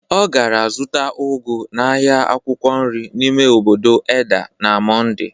O gara zụta ụgụ n'ahịa akwụkwọ nri n'ime obodo Edda na Monde